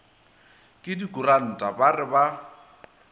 ke dikuranta ba re ba